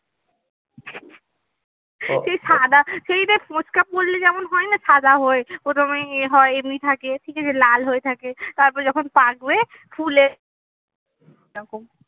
সেই সাদা সেই দেখ ফোচকা পড়লে যেমন হয় না সাদা হয় প্রথমেই ইয়ে হয় এমনি থাকে ঠিক আছে লাল হয়ে থাকে তারপরে যখন পাকবে ফুলে এরকম